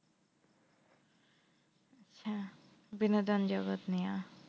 হ্যাঁ বিনোদন জগৎ নিয়া।